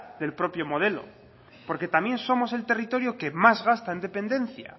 del propio modelo porque también somos el territorio que más gasta en dependencia